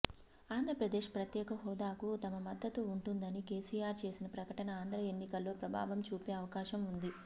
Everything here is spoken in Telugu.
ఆంధ్రప్రదేశ్ ప్రత్యేక హోదాకు తమ మద్దతు ఉంటుందని కెసిఆర్ చేసిన ప్రకటన ఆంధ్ర ఎన్నికల్లో ప్రభావం చూపే అవకాశం ఉంది